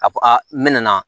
A fɔ aa n mɛna